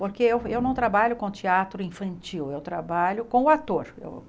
Porque eu eu não trabalho com teatro infantil, eu trabalho com o ator, com...